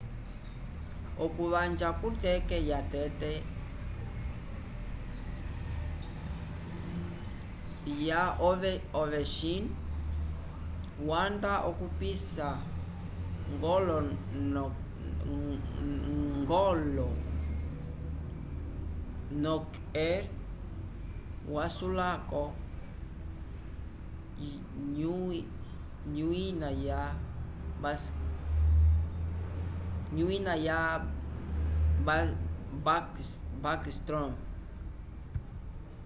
okuvanja ku teke ya tete ya ovechin wanda okupisa golo nokr wayulaoku nyuina ya s bascstrom